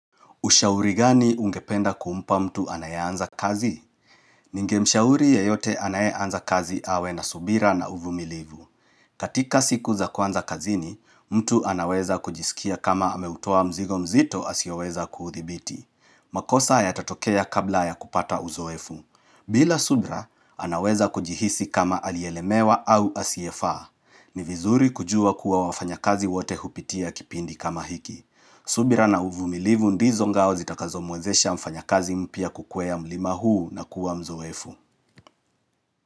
Ushauri gani ungependa kumpa mtu anayeanza kazi? Ninge mshauri yeyote anayeanza kazi awe na subira na uvumilivu. Katika siku za kwanza kazini, mtu anaweza kujisikia kama ameutoa mzigo mzito asioweza kuudhibiti. Makosa yatatokea kabla ya kupata uzoefu. Bila subira, anaweza kujihisi kama aliyelemewa au asiyefaa. Ni vizuri kujua kuwa wafanyakazi wote hupitia kipindi kama hiki. Subira na uvumilivu ndizo ngao zitakazo muwezesha mfanyakazi mpya kukwea mlima huu na kuwa mzoefu.